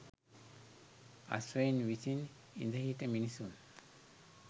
අශ්වයින් විසින් ඉඳ හිට මිනිසුන්